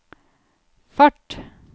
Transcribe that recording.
fart